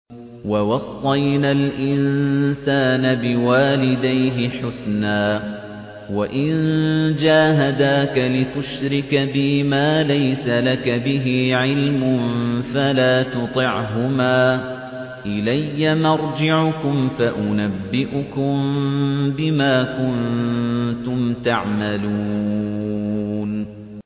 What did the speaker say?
وَوَصَّيْنَا الْإِنسَانَ بِوَالِدَيْهِ حُسْنًا ۖ وَإِن جَاهَدَاكَ لِتُشْرِكَ بِي مَا لَيْسَ لَكَ بِهِ عِلْمٌ فَلَا تُطِعْهُمَا ۚ إِلَيَّ مَرْجِعُكُمْ فَأُنَبِّئُكُم بِمَا كُنتُمْ تَعْمَلُونَ